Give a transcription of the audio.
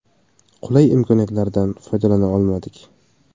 Qulay imkoniyatlardan foydalana olmadik.